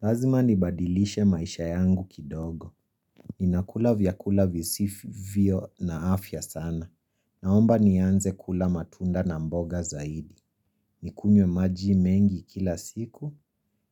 Lazima nibadilishe maisha yangu kidogo. Ninakula vyakula visivyo na afya sana. Naomba nianze kula matunda na mboga zaidi. Nikunywe maji mengi kila siku.